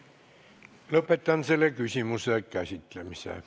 Lõpetan selle küsimuse käsitlemise.